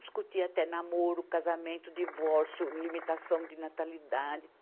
Discutia até namoro, casamento, divórcio, limitação de natalidade.